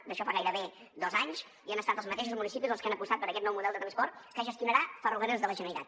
d’això fa gairebé dos anys i han estat els mateixos municipis els que han apostat per aquest nou model de transport que gestionarà ferrocarrils de la generalitat